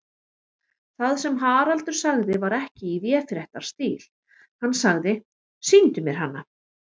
Það sem Haraldur sagði var ekki í véfréttarstíl, hann sagði: Sýndu mér hana.